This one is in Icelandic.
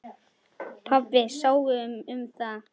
Pabbi sá um það.